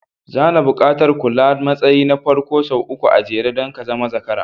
Zana buƙatar kula da matsayi na farko sau uku a jere don ka zama zakara